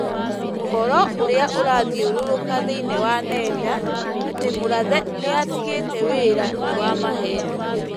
ũhoro ũrĩa ũrathiũrũrũka thĩinĩ wa nenda, atĩ Murathe nĩ atigĩte wĩra, nĩ wa maheeni.